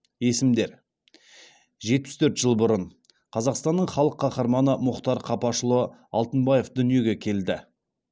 есімдер жетпіс төрт жыл бұрын қазақстанның халық қаһарманы мұхтар қапашұлы алтынбаев дүниеге келді